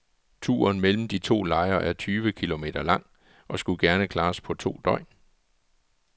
Turen mellem de to lejre er tyve kilometer lang og skulle gerne klares på to døgn.